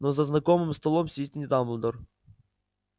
но за знакомым столом сидит не дамблдор